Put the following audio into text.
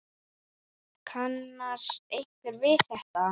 Kannast einhver við þetta?